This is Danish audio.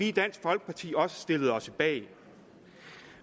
i dansk folkeparti stillede os bag